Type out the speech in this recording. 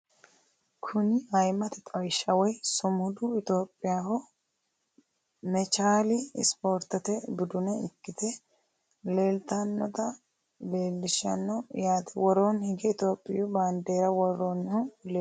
Kuni ayimate xawishi woyi sumuddu ethyopiyaho mechaali isportete budune ikite leeltanota leelishano yaate worooni hige ethiyopgiyi bandeera woronihu leelano yaate.